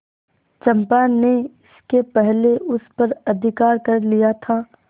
चंपा ने इसके पहले उस पर अधिकार कर लिया था